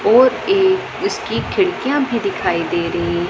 और एक इसकी खिड़कियां भी दिखाई दे रही हैं।